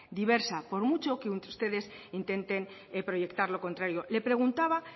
diversa por mucho que ustedes intenten proyectar lo contrario le preguntaba